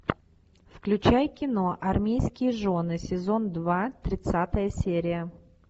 включай кино армейские жены сезон два тридцатая серия